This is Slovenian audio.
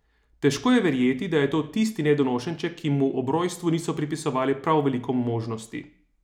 Težko je verjeti, da je to tisti nedonošenček, ki mu ob rojstvu niso pripisovali prav veliko možnosti.